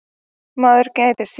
Maður gætir sín.